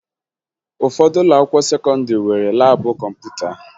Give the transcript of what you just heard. Ụfọdụ ụlọakwụkwọ sekọndịrị nwere laabụ kọmputa